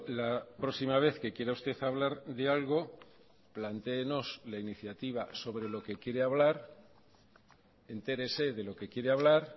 la próxima vez que quiera usted hablar de algo plantéenos la iniciativa sobre lo que quiere hablar entérese de lo que quiere hablar